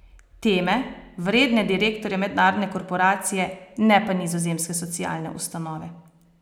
Teme, vredne direktorja mednarodne korporacije, ne pa nizozemske socialne ustanove.